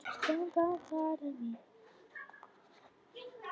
Ég átti ætíð síðan eftir að minnast þessa fólks þegar ég henti plastumbúðum í ruslið.